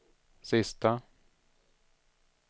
sista